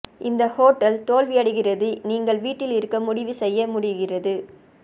இந்த ஹோட்டல் தோல்வியடைகிறது நீங்கள் வீட்டில் இருக்க முடிவு செய்ய முடிகிறது